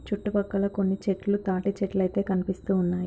చుట్టుపక్కల కొన్ని చెట్లు తాటి చెట్లుయితే కనిపిస్తూ ఉన్నాయి.